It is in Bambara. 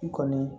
I kɔni